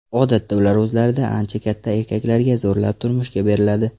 Odatda ular o‘zlaridan ancha katta erkaklarga zo‘rlab turmushga beriladi.